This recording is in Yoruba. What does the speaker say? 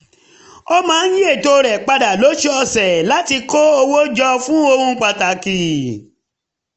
ó máa ń yí eto rẹ̀ padà lọ́sọ̀ọ̀sẹ̀ láti kó owó jọ fún ohun pàtàkì